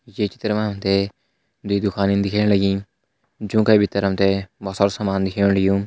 ये चित्र माँ हम तें दुइ दुखनि दिख्येंण लगि जौं का भितर हम तें भोत सारो सामान दिख्येंण लग्युं।